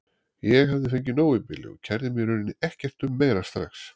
Ég hafði fengið nóg í bili og kærði mig í rauninni ekkert um meira strax.